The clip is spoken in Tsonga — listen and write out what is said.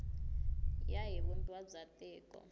ya hi vumbiwa bya tiko